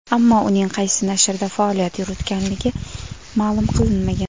Ammo uning qaysi nashrda faoliyat yuritganligi ma’lum qilinmagan.